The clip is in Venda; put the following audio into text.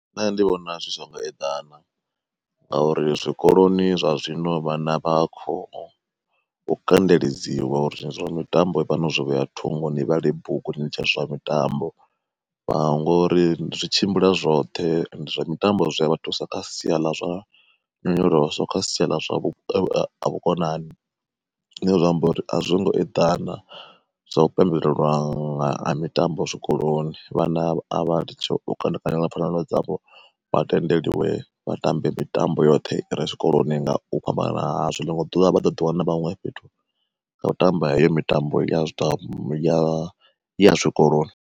Nṋe ndi vhona zwi songo eḓana, ngauri zwikoloni zwa zwino vhana vha kho u kandeledziwa uri zwa mitambo ivhani no zwi vheya thungo ni vhale bugu ni litshe zwa mitambo ngori zwi tshimbila zwoṱhe zwa mitambo zwi a vha thusa kha sia ḽa zwa nyonyoloso kha sia ḽa zwa vhukonani. Zwine zwa amba uri a zwo ngo eḓana zwa u fhelelelwa nga ha mitambo zwikoloni, vhana a vha litshe u kandekanya nga pfanelo dzavho vha tendelwe vha tambe mitambo yoṱhe ire tshikoloni nga u fhambanana hazwo ḽiṅwe ḓuvha vha ḓo ḓi wana vha huṅwe fhethu ngau tamba heyo mitambo ya mitambo ya ya zwi tshikoloni.